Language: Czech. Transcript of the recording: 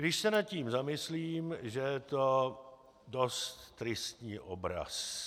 Když se nad tím zamyslím, že je to dost tristní obraz.